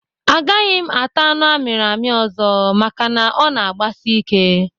A gaghị m ata anụ amiri ami ọzọ maka na ọ na agbasi ike